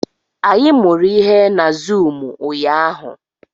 Anyị mụrụ ihe na zụụmu ụnyaahụ